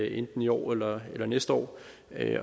enten i år eller eller næste år